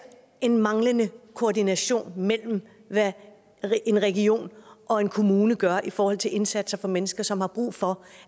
en manglende koordination mellem hvad en region og en kommune gør i forhold til indsatser for mennesker som har brug for